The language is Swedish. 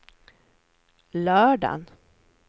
lördagen